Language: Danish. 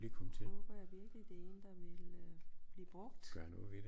Håber jeg virkeligt det er en der vil øh blive brugt